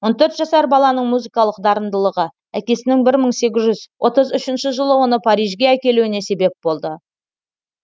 он төрт жасар баланың музыкалық дарындылығы әкесінің бір мың сегіз жүз отыз үшінші жылы оны парижге әкелуіне себеп болды